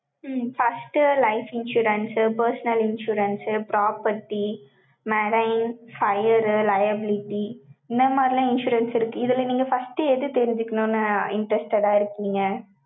உம் first, life insurance, personal insurance, property, medine, fire, liability இந்த மாதிரி எல்லாம், insurance இருக்கு. இதுல, நீங்க first எது தெரிஞ்சுக்கணும்ன்னு, interested ஆ இருக்கீங்க